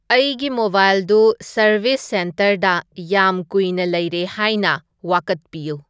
ꯑꯩꯒꯤ ꯃꯣꯕꯥꯏꯜꯗꯨ ꯁꯔꯕꯤꯁ ꯁꯦꯟꯇꯔꯗ ꯌꯥꯝ ꯀꯨꯏꯅ ꯂꯩꯔꯦ ꯍꯥꯏꯅ ꯋꯥꯀꯠꯄꯤꯌꯨ